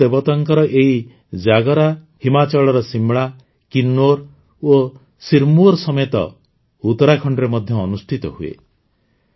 ମହାସୁ ଦେବତାଙ୍କର ଏହି ଜାଗର ହିମାଚଳର ଶିମଳା କିନ୍ନୌର ଏବଂ ସିରମୌର ସମେତ ଉତ୍ତରାଖଣ୍ଡରେ ମଧ୍ୟ ଅନୁଷ୍ଠିତ ହୁଏ